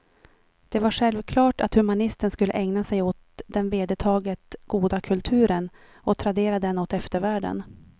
Det var självklart att humanisten skulle ägna sig åt den vedertaget goda kulturen och tradera den åt eftervärlden.